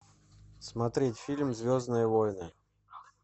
смотреть фильм звездные войны